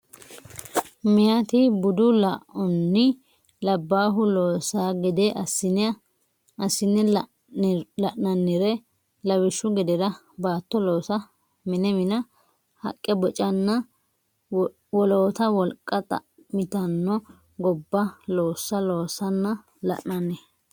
Meyati budu laonni labbaahu loossa gede assine la nannire lawishshu gedera baatto loosa mine mina haqqe bocatenna woloota wolqa xa mitanno gobba loossa loossanna la nanni.